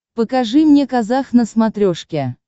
покажи мне казах на смотрешке